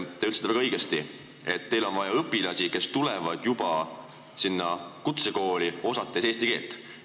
Te ütlesite väga õigesti, et teil on vaja õpilasi, kes juba sinna kutsekooli tulles oskavad eesti keelt.